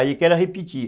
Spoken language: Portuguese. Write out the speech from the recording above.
Aí que ela repetia.